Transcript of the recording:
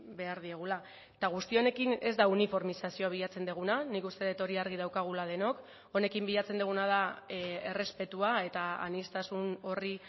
behar diegula eta guzti honekin ez da uniformizazioa bilatzen duguna nik uste dut hori argi daukagula denok honekin bilatzen duguna da errespetua eta aniztasun horri